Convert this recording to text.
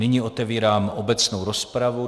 Nyní otevírám obecnou rozpravu.